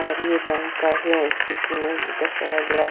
और ये बैंक का ही दृश्य दर्शाया गया है।